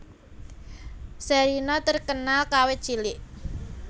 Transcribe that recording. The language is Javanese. Sherina terkenal kawit cilik